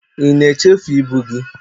ị na echefu ibu gị?